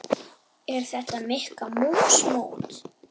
Er þetta Mikka mús mót?